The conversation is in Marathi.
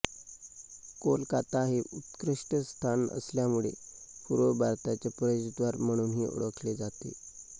कोलकाता हे उत्कृष्ट स्थान असल्यामुळे पूर्व भारताचे प्रवेशद्वार म्हणूनही ओळखले जाते